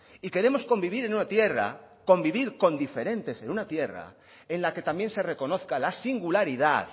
y queremos convivir en una tierra convivir con diferentes en una tierra en la que también se reconozca la singularidad